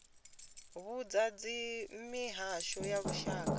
vhudzwa uri mihasho ya lushaka